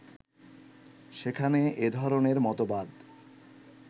সেখানে এধরনের মতবাদ